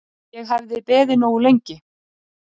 Ég hafði beðið nógu lengi.